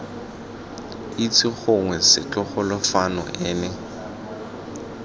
itse gongwe setlogolo fano ene